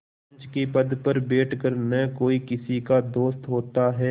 पंच के पद पर बैठ कर न कोई किसी का दोस्त होता है